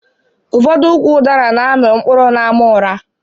Ụfọdụ ụkwụ udara na amị mkpụrụ n'àmà ura